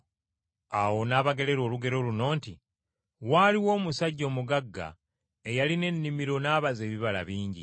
Awo n’abagerera olugero luno nti, “Waaliwo omusajja omugagga eyalina ennimiro n’abaza ebibala bingi.